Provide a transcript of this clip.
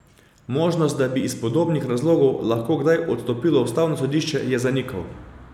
Možnost, da bi iz podobnih razlogov lahko kdaj odstopilo ustavno sodišče, je zanikal.